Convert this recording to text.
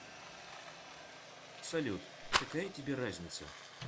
салют какая тебе разница